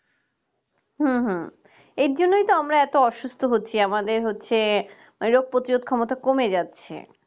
হ্যাঁ হ্যাঁ এর জন্যই তো আমরা এত অসুস্থ হচ্ছি আমাদের হচ্ছে প্রতিরোধ ক্ষমতা কমে যাচ্ছে